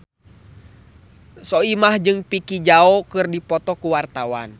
Soimah jeung Vicki Zao keur dipoto ku wartawan